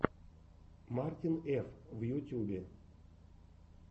мартин ф в ютюбе